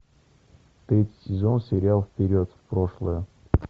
третий сезон сериал вперед в прошлое